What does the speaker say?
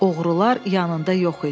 Oğrular yanında yox idi.